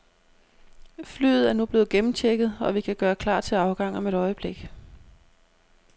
Flyet er nu blevet gennemchecket, og vi kan gøre klar til afgang om et øjeblik.